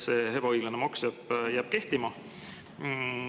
See ebaõiglane maks jääb kehtima.